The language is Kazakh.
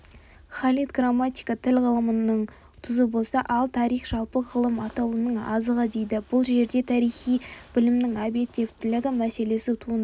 халид грамматика тіл ғылымының тұзы болса ал тарих жалпы ғылым атаулының азығы дейді бұл жерде тарихи білімнің объективтілігі мәселесі туындайды